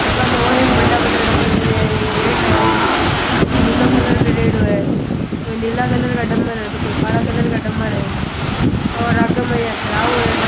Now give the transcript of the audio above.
आगे मै और भी बड़ा बड़ा डंबल पड़या है एक गेट है ओ निलो कलर करेडो है कोई नीला कलर का डंबल है तो कोई काला कलर का डंबल है और आगे मै या खराब होएड़ा डं --